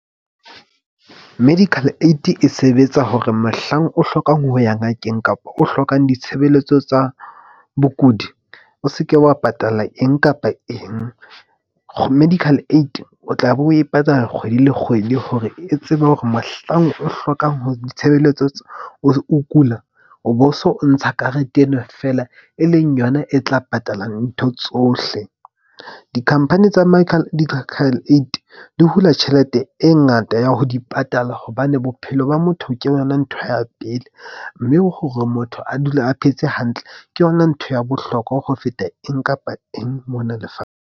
Medical aid-i e sebetsa hore mohlang o hlokang ho ya ngakeng kapa o hlokang ditshebeletso tsa bokudi, o seke wa patala eng kapa eng. Medical aid o tla be o e patala kgwedi le kgwedi, hore e tsebe hore mohlang o hlokang ho ditshebeletso o kula o bo so ntsha karete ena fela e leng yona e tla patala ntho tsohle. Di-company tsa aid di hula tjhelete e ngata ya ho di patala. Hobane bophelo ba motho ke yona ntho ya pele. Mme hore motho a dule a phetse hantle, ke yona ntho ya bohlokwa ho feta eng kapa eng mona .